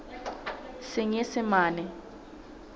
senyesemane